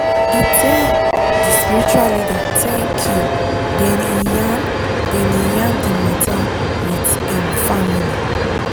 e tell d spiritual leader thank you then e yarn then e yarn di matter with im family.